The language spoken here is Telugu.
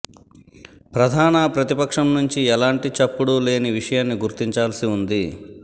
ప్రధాన ప్రతిపక్షం నుంచి ఎలాంటి చప్పుడు లేని విషయాన్ని గుర్తించాల్సి ఉంది